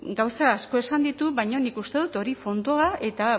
gauza asko esan ditu baina nik uste dut hori fondoa eta